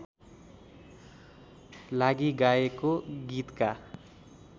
लागि गाएको गीतका